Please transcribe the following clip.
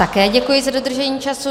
Také děkuji za dodržení času.